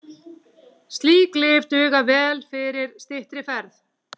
Slík lyf duga vel fyrir styttri ferðir.